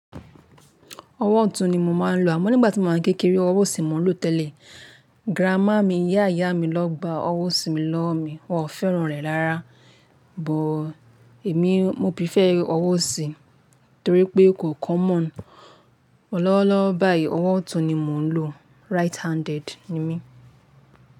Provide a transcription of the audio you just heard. Ọwọ́ ọ̀tún ni mo máa ń lo, àmọ́ nígbà tí màá kekere ọwọ́ òsì ni mò ń lò tẹ́lẹ̀. Gránmà mi, ìyá ìyá mi lọ́ gba ọwọ́ òsì mi lọ́wo mi, wọn ò fẹ́ràn rẹ̀ rárá. Bọ̀ èmi, mo bí prefer owo òsì torí pé kò common. Lowo lowo báyìí, ọwọ́ ọ̀tún ni mò ń lò. Right handed ni mí.